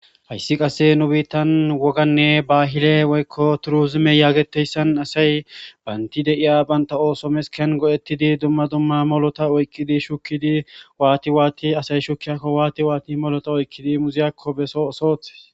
hayssi qasse nu biittan woganne baahile woykko turuzime yaageteyssan asay baynti deiya banta ooso mesken go7ettidi dumma dumma molota oykkidi shukkidi waati waati asay shukkiyakko waati waati molota oykkidi muziyakko beso osoote